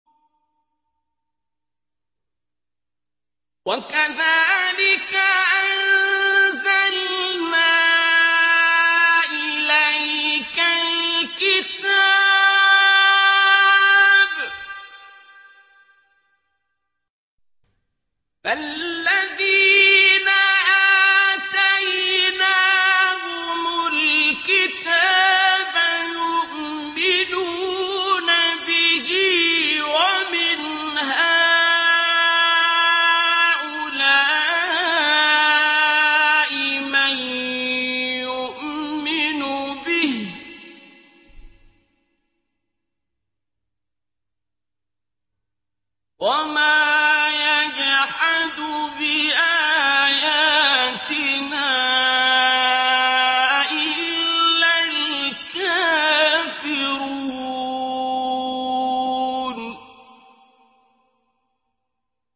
وَكَذَٰلِكَ أَنزَلْنَا إِلَيْكَ الْكِتَابَ ۚ فَالَّذِينَ آتَيْنَاهُمُ الْكِتَابَ يُؤْمِنُونَ بِهِ ۖ وَمِنْ هَٰؤُلَاءِ مَن يُؤْمِنُ بِهِ ۚ وَمَا يَجْحَدُ بِآيَاتِنَا إِلَّا الْكَافِرُونَ